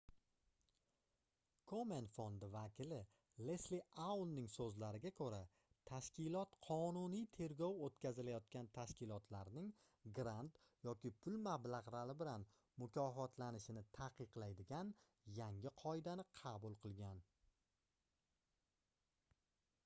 komen fondi vakili lesli aunning soʻzlariga koʻra tashkilot qonuniy tergov oʻtkazilayotgan tashkilotlarning grant yoki pul mablagʻlari bilan mukofotlanishini taqiqlaydigan yangi qoidani qabul qilgan